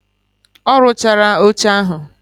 Oluchala oche ahu